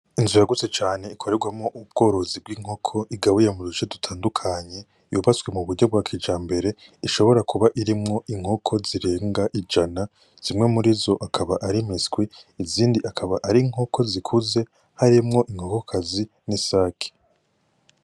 Inzu yagutse cane ikorerwamwo ubworozi bw'inkoko, igabuye mu duce dutandukanye ,yubatswe mu buryo bwa kijambere ishobora kuba irimwo inkoko zirenga ijana. Zimwe murizo akaba ari imiswi, izindi akaba ari inkoko zikuze harimwo inkokokazi hamwe n'isake.